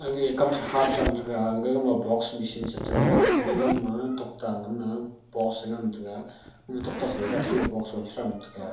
kam sa gaga ma box machine chu tokta post e .